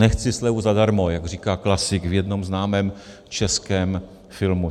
Nechci slevu zadarmo, jak říká klasik v jednom známém českém filmu.